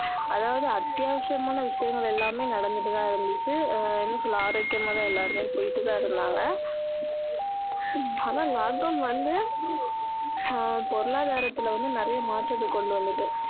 அதாவது அத்தியாவசியமான விஷயங்கள் எல்லாமே நடந்துட்டு தான் இருந்துச்சு ஆஹ் என்ன சொல்ல ஆரோக்கியமா தான் எல்லாருமே போயிட்டு தான் இருந்தாங்க ஆனா lockdown வந்து ஆஹ் பொருளாதாரத்துல வந்து நிறைய மாற்றத்தை கொண்டு வந்துட்டு